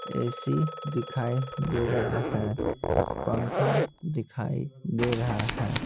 AC दिखाई दे रहा है पंखा दिखाई दे रहा है।